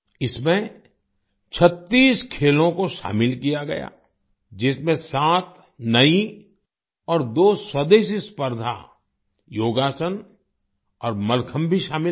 इसमें 36 खेलों को शामिल किया गया जिसमें 7 नई और दो स्वदेशी स्पर्धा योगासन और मल्लखम्ब भी शामिल रही